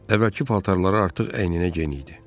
Əvvəlki paltarları artıq əyninə geyinirdi.